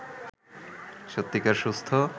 সত্যিকার সুস্থ